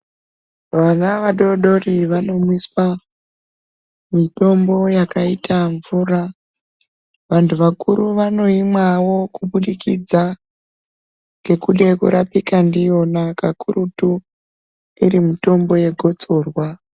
Mwana vadodori vanomwiswa mitombo yakaita mvura vantu vakuru vanoimwawo kubudikidza ngekuda kurapika ndiyona kakurutu iri mitombo yegotsorwa.